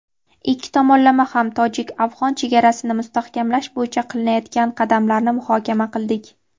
ikki tomonlama ham tojik-afg‘on chegarasini mustahkamlash bo‘yicha qilinayotgan qadamlarni muhokama qildik.